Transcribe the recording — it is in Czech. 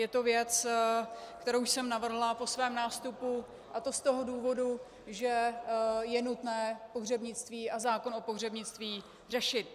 Je to věc, kterou jsem navrhla po svém nástupu, a to z toho důvodu, že je nutné pohřebnictví a zákon o pohřebnictví řešit.